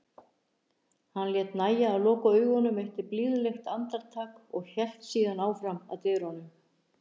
Hann lét nægja að loka augunum eitt blíðlegt andartak og hélt síðan áfram að dyrunum.